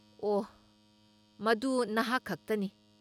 ꯑꯣꯍ, ꯃꯗꯨ ꯅꯍꯥꯛ ꯈꯛꯇꯅꯤ!